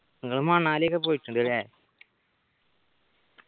നിങ്ങൾ മണാലി ഒക്കെ പോയിട്ടുണ്ടല്ലേ